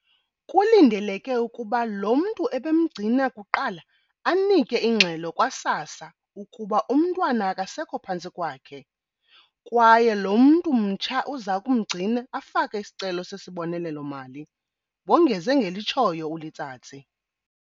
Kulindeleke ukuba lo mntu ebemgcina kuqala anike ingxelo kwa-SASSA ukuba umntwana akasekho phantsi kwakhe, kwaye lo mntu mtsha uzakumgcina afake isicelo sesibonelelo-mali, wongeze ngelitshoyo uLetsatsi.